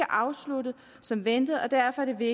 afsluttet som ventet og derfor er det